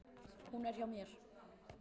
Hún er hjá mér.